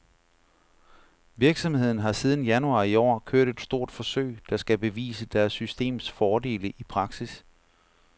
Virksomheden har siden januar i år kørt et stort forsøg, der skal bevise deres systems fordele i praksis.